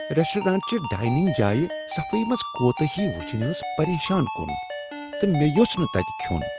Restaurant چہِ dining جایہِ صفایی منز كوتٲہی وٗچھنۍ ٲس پریشان كٗن ، تہٕ مےٚ یوٚژھ نہٕ تتہِ كھیو٘ن ۔